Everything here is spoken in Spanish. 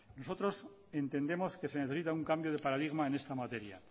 nosotros entendemos que se necesita un cambio de paradigma en esta materia